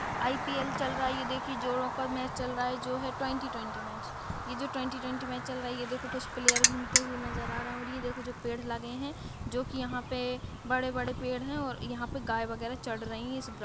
IPL चल रहा है ये देखिये जोरों का मैच चल रहा है जो है ट्वेंटी ट्वेंटी मैच ये जो ट्वेंटी ट्वेंटी मैच चल रहा है। ये देखो कुछ प्लेयर घूमते हुए नज़र आ रहे हैं और ये देखो ये जो पेड़ लगे हैं जो कि यहाँ पे बड़े-बड़े पेड़ हैं और यहाँ पे गाय वगेरा चढ़ रही हैं इस ग्रा --